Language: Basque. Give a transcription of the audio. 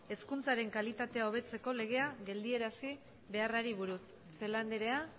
hezkuntzaren kalitatea hobetzeko legea geldiarazi beharrari buruz celaá andrea